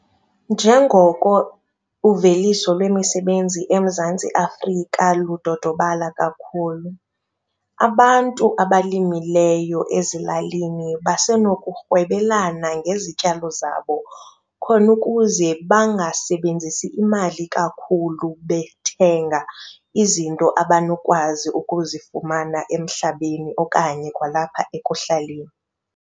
Njengoko uveliso lwemisebenzi eMzantsi Afrika ludodobala kakhulu, abantu abalimileyo ezilalini basenokurhwebelana ngezityalo zabo khona ukuze bangasebenzisi imali kakhulu bethenga izinto abanokwazi ukuzifumana emhlabeni okanye kwalapha ekuhlaleni.